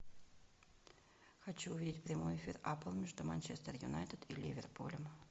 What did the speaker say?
хочу увидеть прямой эфир апл между манчестер юнайтед и ливерпулем